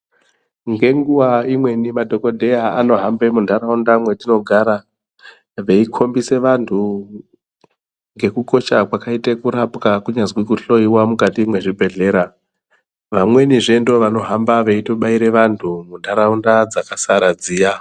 Ngenguwa imweni madhokodheyaa anohambe mundaraunda mwetinogara, veikombisaa vantu ngekukosha kwakaita kurapwaa, kunyanlzi kuhloyiwaa mukati mezvibhedhlera. Vamwenizvee ndovanohamba veitobayira vantu mundaraunda dzakasara dziyaa.